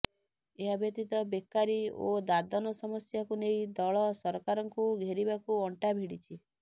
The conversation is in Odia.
ଏହାବ୍ୟତୀତ ବେକାରୀ ଓ ଦାଦନ ସମସ୍ୟାକୁ ନେଇ ଦଳ ସରକାରଙ୍କୁ ଘେରିବାକୁ ଅଣ୍ଟା ଭିଡ଼ିଛି